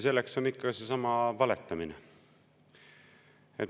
See on ikka seesama valetamine.